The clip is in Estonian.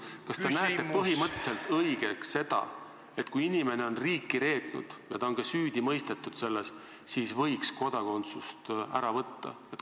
Kas te peate põhimõtteliselt õigeks seda, et kui inimene on riiki reetnud ja ta on selles ka süüdi mõistetud, siis võiks talt kodakondsuse ära võtta?